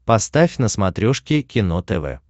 поставь на смотрешке кино тв